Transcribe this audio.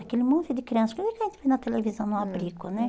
Aquele monte de criança, como é que a gente vê na televisão no abrigo, né?